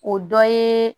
O dɔ ye